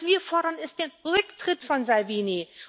Was wir fordern, ist der Rücktritt von Salvini.